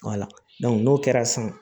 n'o kɛra san